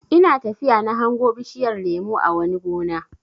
Ina tafiya na hango bishiyar lemo a wani gona.